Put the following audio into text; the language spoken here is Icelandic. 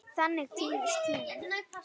Þannig týnist tíminn.